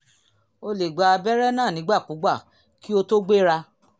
o lè gba abẹ́rẹ́ náà nígbàkigbà kí o tó gbéra